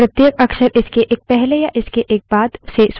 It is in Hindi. streams तक file io techniques का उपयोग करके पहुंचा जाता हैं